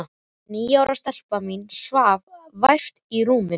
Og níu ára stelpan mín svaf vært í rúminu.